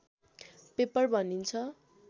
paper भनिन्छ